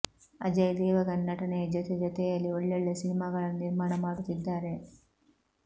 ಅಜಯ್ ದೇವಗನ್ ನಟನೆಯ ಜೊತೆ ಜೊತೆಯಲ್ಲಿ ಒಳ್ಳೊಳ್ಳೆ ಸಿನಿಮಾಗಳನ್ನು ನಿರ್ಮಾಣ ಮಾಡುತ್ತಿದ್ದಾರೆ